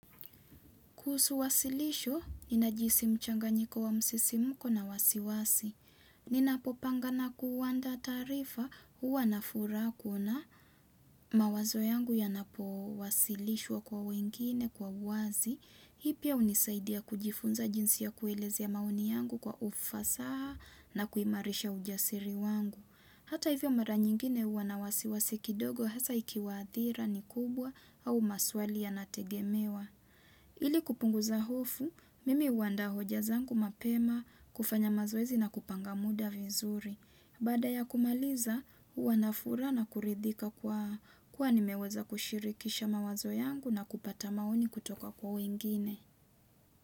Kusuwasilisho, ninajihisi mchanganyiko wa msisimuko na wasiwasi. Ninapopanga na kuandaa taarifa, huwa na furaha kuona mawazo yangu yanapo wasilishwa kwa wengine kwa uwazi. Hii pia unisaidia kujifunza jinsi ya kuelezea maoni yangu kwa ufasaha na kuimarisha ujasiri wangu. Hata hivyo mara nyingine huwa na wasiwasi kidogo hasa ikiwa adhira ni kubwa au maswali yanategemewa. Ili kupunguza hofu, mimi uandaa hoja zangu mapema kufanya mazoezi na kupanga muda vizuri. Baada ya kumaliza, uwa nafura na kuridhika kwa kuwa nimeweza kushirikisha mawazo yangu na kupata maoni kutoka kwa wengine.